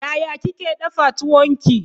Yaya kike dafa tuwon ki?